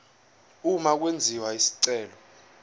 uma kwenziwa isicelo